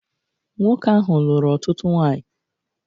Nwoke ahụ lụrụ ọtụtụ nwanyị.